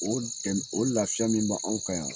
O dɛm o lafiya min b'anw kan yan